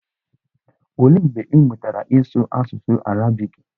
Olee mgbe ị mụtara ịsụ asụsụ arabiiki?